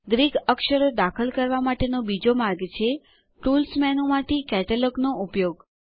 Greek અક્ષરો દાખલ કરવા માટેનો બીજો માર્ગ છે ટૂલ્સ મેનુમાંથી કેટલોગ નો ઉપયોગ